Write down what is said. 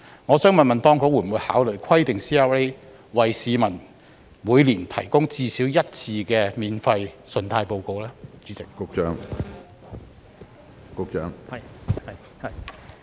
我想問，當局會否考慮規定 CRA 每年至少為市民免費提供信貸報告一次？